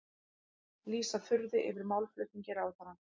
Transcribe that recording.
Lýsa furðu yfir málflutningi ráðherra